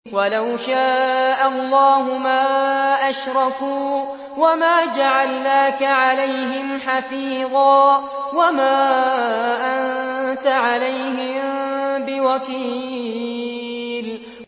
وَلَوْ شَاءَ اللَّهُ مَا أَشْرَكُوا ۗ وَمَا جَعَلْنَاكَ عَلَيْهِمْ حَفِيظًا ۖ وَمَا أَنتَ عَلَيْهِم بِوَكِيلٍ